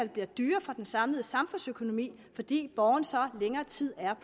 bliver dyrere for den samlede samfundsøkonomi fordi borgerne så er længere tid